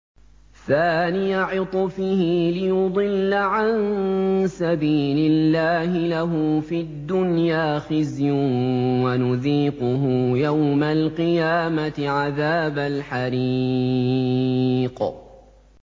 ثَانِيَ عِطْفِهِ لِيُضِلَّ عَن سَبِيلِ اللَّهِ ۖ لَهُ فِي الدُّنْيَا خِزْيٌ ۖ وَنُذِيقُهُ يَوْمَ الْقِيَامَةِ عَذَابَ الْحَرِيقِ